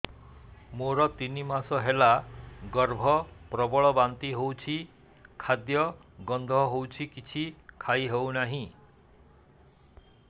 ମୋର ତିନି ମାସ ହେଲା ଗର୍ଭ ପ୍ରବଳ ବାନ୍ତି ହଉଚି ଖାଦ୍ୟ ଗନ୍ଧ ହଉଚି କିଛି ଖାଇ ହଉନାହିଁ